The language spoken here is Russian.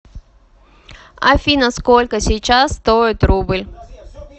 афина сколько сейчас стоит рубль